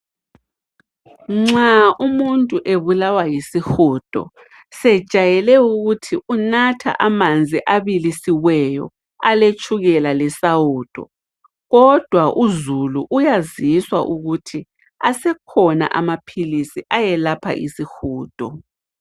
Nxa umuntu ebulawa yisihudo, sejayele ukuthi unatha amanzi abilisiweyo aletshukela lesawudo. Kodwa uzulu uyaziswa ukuthi asekhona amaphilisi ayelapha isihudo.